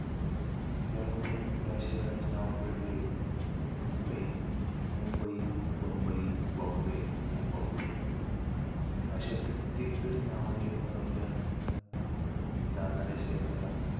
त्यावरून या शहराचे नाव पडले, मुंबई. मुंबई, बम्बई, बॉम्बे, मुंबापुरी. अशा कित्येक तरी नावाने ओळखल्या जाणाऱ्या शहराला,